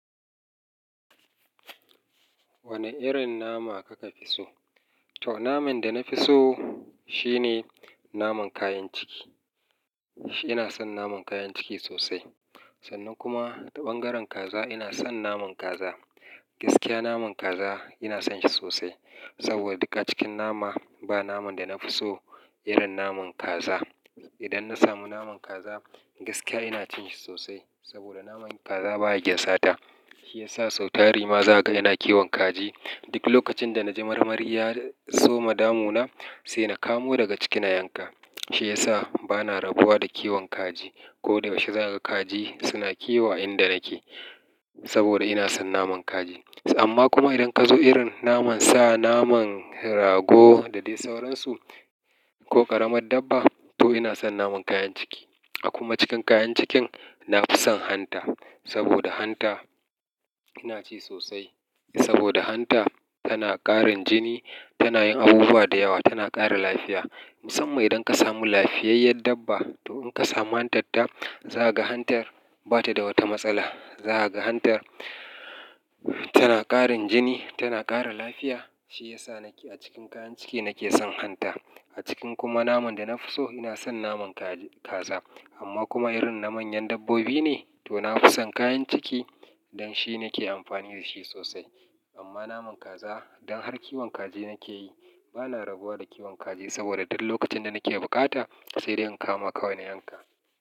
Wane irin nama kuka fi so? To naman da na fi so, shine naman kayan ciki. Ina son naman kayan ciki sosai. Sannan kuma bangaren kaza ina son naman kaza. Gaskiya naman kaza ina son shi sosai. Saboda duka cikin nama ba naman da na fi so irin naman kaza. Idan na samu naman kaza, gaskiya ina cin shi sosai. Saboda naman kaza baya gyan sata. Shi yasa sau tari ma za a ga yana kiwon kaji. Duk lokacin da na ji marmari ya soma damu na, sai na kamo daga ciki na yanka. Shi yasa bana rabuwa da kiwon kaji. Ko dai yauce za a ga kaji suna kiwo a inda nake. Saboda ina son naman kaji. Amma kuma idan ka zo irin naman sa naman rago da dai sauransu ko ƙaramin dabba, to ina son naman kayan ciki. A kuma cikin kayan cikin, na fi son hanta. Saboda hanta, ina ci sosai. Saboda hanta tana ƙarin jini, tana yin abubuwa da yawa, tana ƙara lafiya. Musamman idan ka samu lafiyayyen dabba, to in ka samu hantarta, za a ga hantar bata da wata matsala. Za a ga hantar tana ƙarin jini, tana ƙara lafiya. Shi yasa nake a cikin kayan ciki nake son hanta. A cikin kuma naman da na fi so ina son naman kaji-kaza. Amma kuma irin na manyan dabbobi ne, to na fi son kayan ciki. Don shi nake amfani da shi sosai. Amma naman kaza don har kiwon kaji nake yi bana rabuwa da kiwon kaji. Saboda duk lokacin da nake bukata sai dai in kama kawai na yanka.